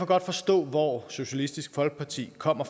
godt forstå hvorfor socialistisk folkeparti kommer